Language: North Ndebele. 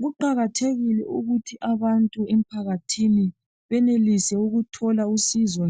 Kuqakathekile ukuthi abantu emphakathini benelise ukuthola